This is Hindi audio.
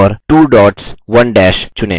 2 dots 1 dash चुनें